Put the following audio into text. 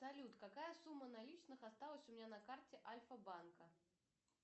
салют какая сумма наличных осталась у меня на карте альфа банка